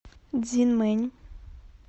цзинмэнь